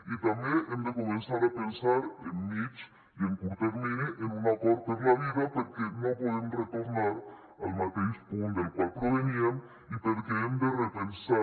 i també hem de començar a pensar en mitjà i en curt termini en un acord per la vida perquè no podem retornar al mateix punt del qual proveníem i perquè hem de repensar